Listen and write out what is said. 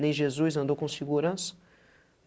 Nem Jesus andou com segurança?